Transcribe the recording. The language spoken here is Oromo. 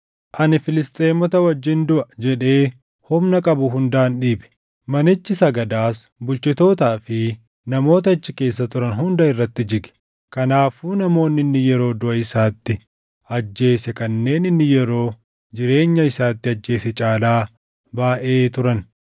“Ani Filisxeemota wajjin duʼa!” jedhee humna qabu hundaan dhiibe; manichi sagadaas bulchitootaa fi namoota achi keessa turan hunda irratti jige. Kanaafuu namoonni inni yeroo duʼa isaatti ajjeese kanneen inni yeroo jireenya isaatti ajjeese caalaa baayʼee turan.